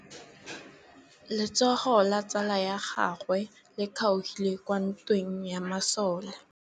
Letsôgô la tsala ya gagwe le kgaogile kwa ntweng ya masole.